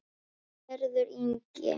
Hörður Ingi.